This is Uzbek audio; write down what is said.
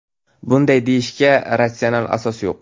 Bunday deyishga ratsional asos yo‘q.